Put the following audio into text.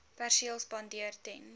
perseel spandeer ten